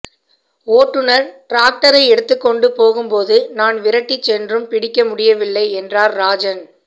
ஓட்டுநர் டிராக்டரை எடுத்துக் கொண்டு போகும்போது நான் விரட்டிச் சென்றும் பிடிக்க முடியவில்லை என்றார் ராஜன்